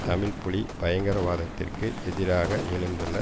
தமிழ் புலி பயங்கரவாதத்திற்கு எதிராக எழுந்துள்ள